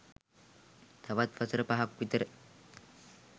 තවත් වසර පහක් විතර